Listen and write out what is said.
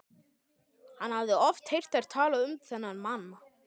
Hann hafði oft heyrt þær tala um þennan mann.